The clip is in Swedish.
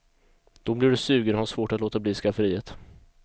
Då blir du sugen och har svårt att låta bli skafferiet.